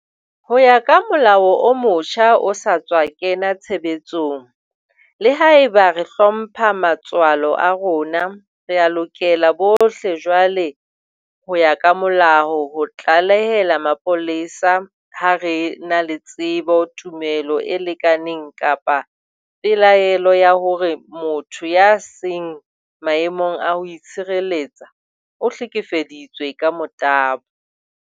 Ho ya ka molao o motjha o sa tswa kena tshebetsong, le haeba re hlompha matswalo a rona, rea lokela bohle jwale ho ya ka molao ho tlalehela mapolesa ha re na le tsebo, tumelo e lekaneng kapa pelaelo ya hore motho ya seng maemong a ho itshireletsa o hlekefeditswe ka motabo.